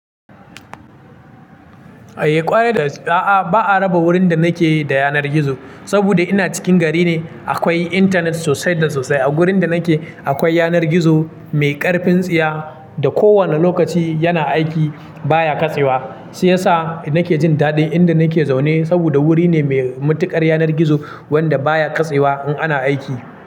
Eh ƙware da gaske, a'a ba'a raba wurin da nake da yanar gizo saboda ina cikin gari ne. Akwai intanet sosai da sosai a wurin da nake. Akwai yanar gizo mai ƙarfin tsiya da kowane lokaci yana aiki baya katsewa. Shi ya sa nake jin daɗi inda nake zaune saboda wuri ne mai matuƙar yanar gizo wanda baya katsewa in ana aiki.